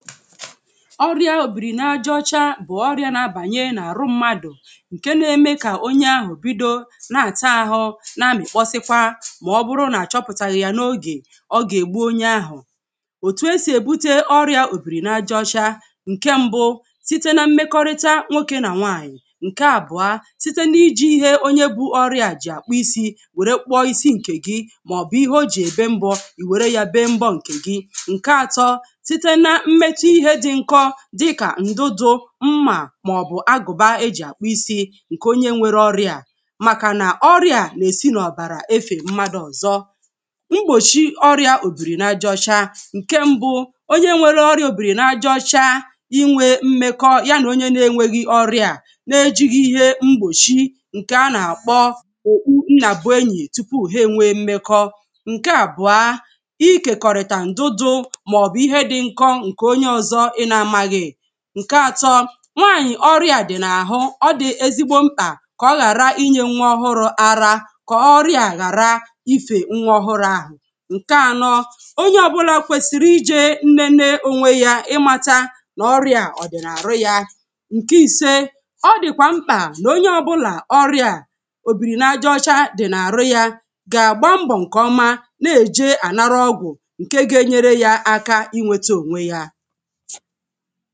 ọrịā òbìrì n'aja ocha bụ̀ ọrịà na-abànye n’àrụ mmadụ̀ ke na-eme kà onye ahụ̀ bido na-ata ahụ na-amịkpọsịkwa ma ọbụrụ na-achọpụtaghi ya n’oge ọ gà ègbu onye ahụ̀ òtù esì èbute ọrịā òbìrì na aja ọcha nke mbụ site na mmekọrịta nwokē nà nwanyì ǹkè àbụ̀ọ site ná-ijī ihe onye bu ọrịā jì àkpụ isī wère kpụọ isi ǹkè gi mà ọ̀bụ̀ ihe ojì èbe mbọ̄ ìwère ya bee mbọ̄ ǹkè gị site na mmetụ ihē dị nkọ dịkà ǹdụdụ̄ mmà mà ọ̀bụ̀ agụ̀ba eji àkpu isī ǹkè onye nwere ọrịā a màkà nà ọrịā na esì n'ọ̀bàrà efère mmadụ̄ ọ̀zọ mgbòchi ọrịā òbìrì na aja ọcha ǹke mbụ onye nwere ọrịā òbìrì na aja ọcha inwē mmekọ ya nà onye n'enwēghi ọrịā a n'ejīghi ihe mkpùchi ǹkè a nà àkpọ ńnàbụ́ enyì tupu ha enwe mmekọ̄ ǹke abụọ̀ ikèkọ̀rị̀tà ǹdụdụ mà ọ̀bụ̀ ihe di nkọ̄ ǹkè onye ọzọ ị na amaghī ǹke atọ nwanyì ọriā a dì na àhụ ọ dị̀ ezigbo mkpà kà ọhàra inyē nwa ohụrụ̄ ara kà ọri̇ā hàra ifè nwa ọhụrụ ahụ̀ ǹke anọ onye ọbụlà kwesiri ijē nene ònwe jā imātā n'ọrịā ọ̀ dị̀ nà àrụ ya ǹke ise ọ dị̀kʷà mkpà nà onye ọbụlā ọrịā a òbìrì na aja ọcha dị̀ n'àrụ yā gà àgba mbọ̀ ǹkè ọma na-ejē ànara ogwù ǹke ga enyere ònwe yā aka inwēta onwe yā